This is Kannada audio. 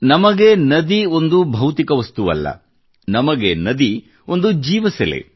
ನಮಗೆ ನದಿಯು ಒಂದು ಭೌತಿಕ ವಸ್ತುವಲ್ಲ ನಮಗೆ ನದಿಯು ಒಂದು ಜೀವಸೆಲೆ